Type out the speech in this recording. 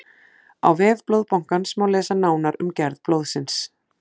á vef blóðbankans má lesa nánar um gerð blóðsins